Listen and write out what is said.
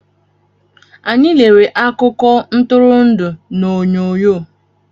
Anyị lere akụko Ntụrụndụ na oyonyo